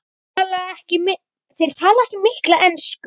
Þeir tala ekki mikla ensku.